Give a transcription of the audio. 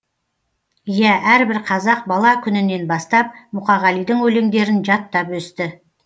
иә әрбір қазақ бала күнінен бастап мұқағалидың өлеңдерін жаттап өсті